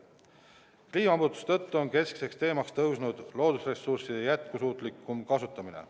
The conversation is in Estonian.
Kliimamuutuste tõttu on keskseks teemaks tõusnud loodusressursside jätkusuutlikum kasutamine.